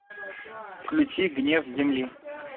включи гнев земли